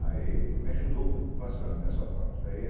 Aí me ajudou bastante nessa parte.